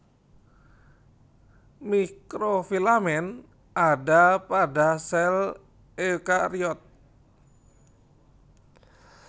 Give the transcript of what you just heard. Mikrofilamen ada pada sel eukariot